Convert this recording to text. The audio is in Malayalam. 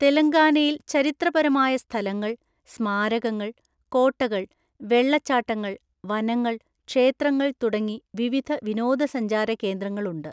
തെലങ്കാനയിൽ ചരിത്രപരമായ സ്ഥലങ്ങൾ, സ്മാരകങ്ങൾ, കോട്ടകൾ, വെള്ളച്ചാട്ടങ്ങൾ, വനങ്ങൾ, ക്ഷേത്രങ്ങൾ തുടങ്ങി വിവിധ വിനോദസഞ്ചാര കേന്ദ്രങ്ങളുണ്ട്.